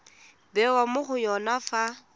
bewa mo go yone fa